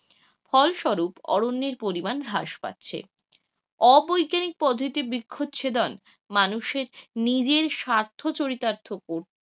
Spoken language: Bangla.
ফলস্বরূপ অরণ্যের পরিমাণ হ্রাস পাচ্ছে, অ- বৈজ্ঞানিক পদ্ধতিতে বৃক্ষ ছেদন মানুষের নিজের স্বার্থ চরিতার্থ করতে,